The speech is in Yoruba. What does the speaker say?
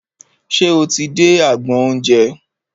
Ṣe o ti dé agbọn oúnjẹ?